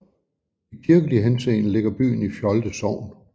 I kirkelig henseende ligger byen i Fjolde Sogn